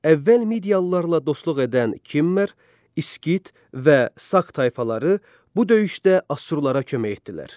Əvvəl Midiyalılarla dostluq edən Kimmer, İskit və Sak tayfaları bu döyüşdə Assurlara kömək etdilər.